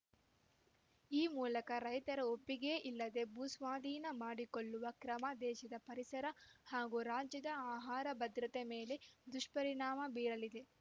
ಈ ಮೂಲಕ ರೈತರ ಒಪ್ಪಿಗೆಯಿಲ್ಲದೆ ಭೂಸ್ವಾಧೀನ ಮಾಡಿ ಕೊಳ್ಳುವ ಕ್ರಮ ದೇಶದ ಪರಿಸರ ಹಾಗೂ ರಾಜ್ಯದ ಆಹಾರ ಭದ್ರತೆ ಮೇಲೆ ದುಷ್ಪರಿಣಾಮ ಬೀರಲಿದೆ